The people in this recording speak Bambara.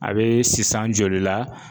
A be sisan joli la